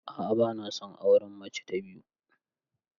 A'a bana son auren mace ta biyu.